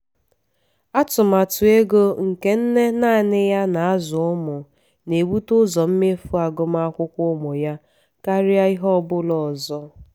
atụmatụ ego nke nne nanị ya na-azụ ụmụ na-ebute ụzọ mmefu agụmakwụkwọ ụmụ ya karịa ihe ọ bụla ọzọ.